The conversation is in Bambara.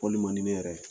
Wali man di ne yɛrɛ ye